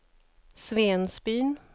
Svensbyn